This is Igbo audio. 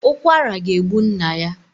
Ukwara ga egbu nna ya